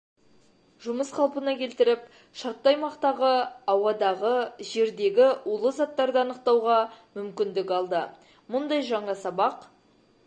жұмыс қалпына келтіріп шартты аймақтағы ауадағы жердегі улы заттарды анықтауға мүмкіндік алды мұндай жаңа сабақ